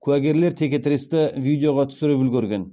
куәгерлер текетіресті видеоға түсіріп үлгерген